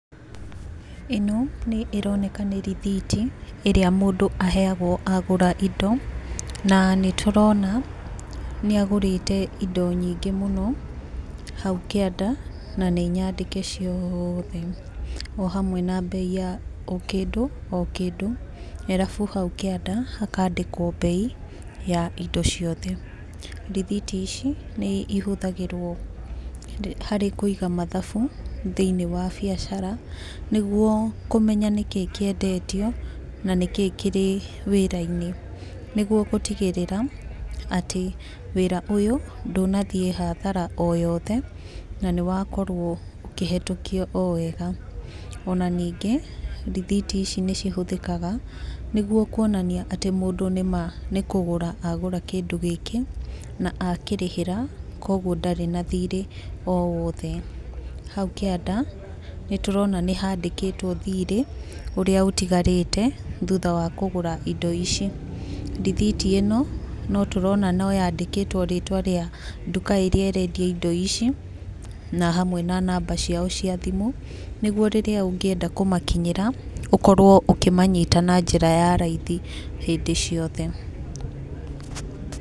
Ĩno nĩ ĩroneka nĩ rithiti ĩrĩa mũndu aheagwo agũra indo na nĩ tũrona nĩ agũrĩte indo nyingĩ mũno haũ kĩanda na nĩ nyandĩke ciothe o hamwe na mbei ya o kĩndũ o kĩndũ arabũ haũ kĩanda hakaandĩkwo mbei ya indo ciothe. Rithiti ici nĩ ihũthagĩrwo harĩ kũiga mathabũ thĩ-ini wa biacara nĩgũo kũmenya nĩkiĩ kĩendetio na nĩkĩĩ kĩrĩ wira-ini nĩgũo gũtigirira atĩ wira ũyũ ndũnathiĩ hathara o yothe na nĩ wakorwo ũkĩhetũkio o wega, ona ningĩ rithiti ici nĩcihũthĩkaga nĩgũo kũonania atĩ mũndũ nĩ ma nĩ kũgũra agũra kĩndũ gĩkĩ na akĩrĩhĩra kogũo ndari na thiiri o wothe. Haũ kĩanda nĩ tũrona nĩ haandĩkĩtwo thiirĩ ũrĩa ũtĩgarĩte thũtha wa kũgũra indo ici. Rithiti ino no tũrona no yaandĩkĩtwo rĩtwa rĩa ndũka iria ĩrendia indo ici na hamwe na namba ciao cia thimũ nĩgũo rĩrĩa ũngĩenda kũmakinyira ũkorwo ũkĩmanyita na njĩra ya raithi hĩndĩ ciothe.